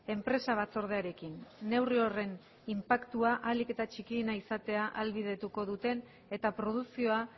enpresa batzordearekin neurri horren inpaktua ahalik eta txikiena izatea ahalbidetuko duen eta produkzioa